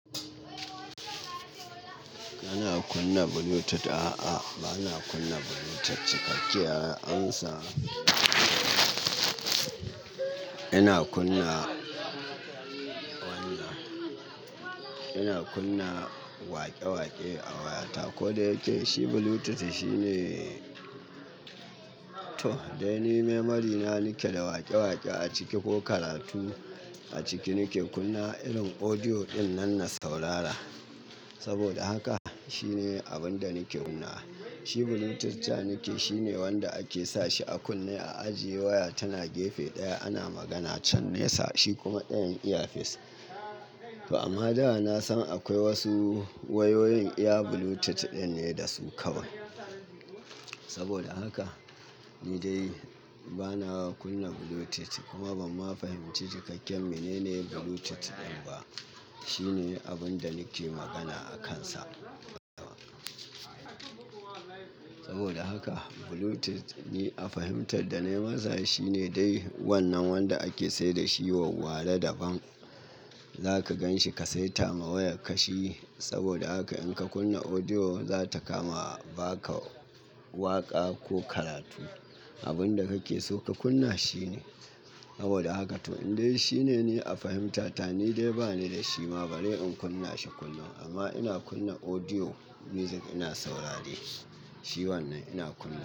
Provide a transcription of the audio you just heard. Ba na kunna Bluetooth, a'a, ba na kunna Bluetooth cikakke. An sa ina kunna wannan, ina kunna waƙe-waƙe a wayata. Ko da yake shi Bluetooth shine, to dai memory na nake da waƙe-waƙe a ciki ko karatu a ciki nake kunna irin audio ɗin nan na saurara. Saboda haka shine abin da nake kun nawa. Shi Bluetooth ca nake shine wanda ake sa shi a kunne a ajiye waya tana gefe ɗaya ana magana can nesa shi kuma ɗayan iya fesa. ToAmma da na san akwai wasu wayoyin iya Bluetooth ɗin ne da su kawai. Saboda haka ni dai ba na kunna Bluetooth kuma ban ma fahimci cikakken menene Bluetooth ɗin ba. Shine abin da nake magana a kansa. Saboda haka Bluetooth ni a fahimtar da na yi masa shine dai wannan wanda ake sayar da shi wa ware da ban. Za ka gan shi ka saita ma wayarka shi saboda haka in ka kunna audio za ta kama ba ka waƙa ko karatu. Abin da kake so ka kunna shine. Saboda haka to in dai shine ne a fahimta ta ni dai ba ni da shi ma bari in kunna shi kullum amma ina kunna audio music ina saurare shi. Shi wannan ina kunna.